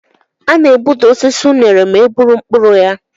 A na-egbuda osisi unere ma e gburu mkpụrụ ya.